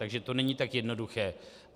Takže to není tak jednoduché.